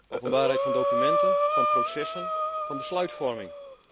Openbaarheid van documenten, van processen, van besluitvorming.